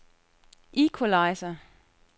equalizer